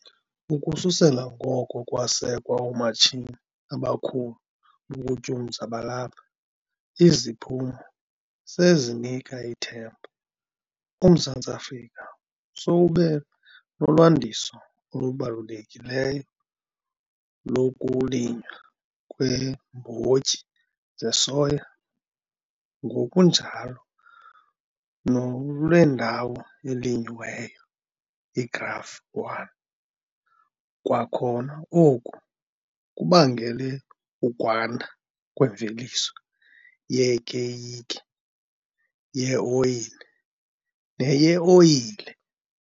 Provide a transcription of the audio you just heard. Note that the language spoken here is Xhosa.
Ukususela ngoko kwasekwa oomatshini abakhulu bokutyumza balapha, iziphumo sezinika ithemba, uMzantsi Afrika sowube nolwandiso olubalulekileyo lokulinywa kweembotyi zesoya ngokunjalo nolwendawo elinywayo, iGraph 1. Kwakhona oku kubangele ukwanda kwemveliso yekeyiki yeoyile neyeoyile.